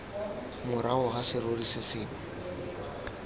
morago ga serori se sengwe